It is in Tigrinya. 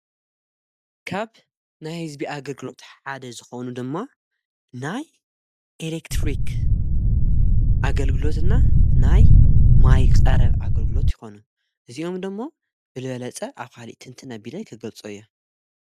ካብ ናይ ሕዝቢኣ ኣገልግሎትሕሓደ ዝኸውኑ ድማ ናይ ኤሌክትሪክ ኣገልግሎትና ናይ ማይቕ ጻረብ ኣገልግሎት ይኾኑ እዚኦምዶሞ ብልለጸ ኣፍሊእትንቲ ነቢለ ኣይ ከገልጾ እያ።